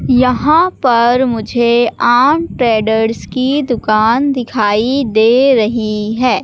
यहां पर मुझे ऑन ट्रेडर्स की दुकान दिखाई दे रही हैं।